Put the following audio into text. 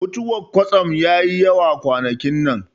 Mutuwar kwatsam yayi yawa kwanakin nan